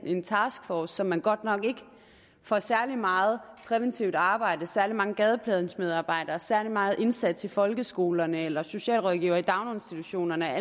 en taskforce som man godt nok ikke får særlig meget præventivt arbejde ikke særlig mange gadeplansmedarbejdere ikke særlig meget indsats i folkeskolerne eller socialrådgivere i daginstitutionerne